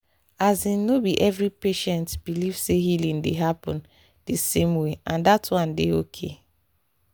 asin no be every patient believe say healing dey happen di same way and that one dey okay